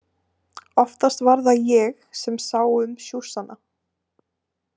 Oftast var það ég sem sá um sjússana.